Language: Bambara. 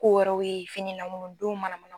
Ko wɛrɛw ye mana na.